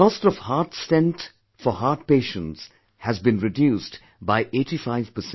The cost of heart stent for heart patients has been reduced to 85%